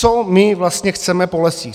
Co my vlastně chceme po lesích.